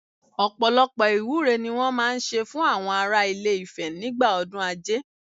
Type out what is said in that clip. Ọ̀pọ̀lọpọ̀ ìwúre ni wọ́n máa ń ṣe fún àwọn ará ilé Ifẹ̀ nígbà ọdún Ajé